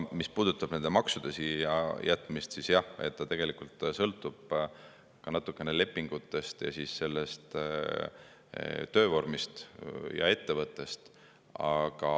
Mis puudutab maksude siia jätmist, siis jah, see tegelikult sõltub natukene lepingutest ja sellest töövormist ja ettevõttest.